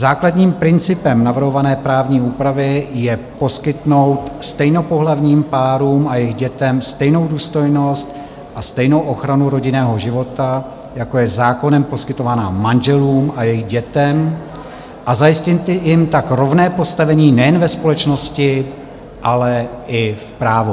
Základním principem navrhované právní úpravy je poskytnout stejnopohlavním párům a jejich dětem stejnou důstojnost a stejnou ochranu rodinného života, jako je zákonem poskytovaná manželům a jejich dětem, a zajistit jim tak rovné postavení nejen ve společnosti, ale i v právu.